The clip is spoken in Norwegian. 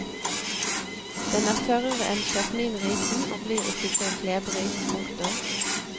Den er tørrere enn jasminrisen og blir ikke så klebrig. punktum